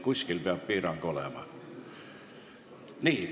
Kuskil peab piir olema.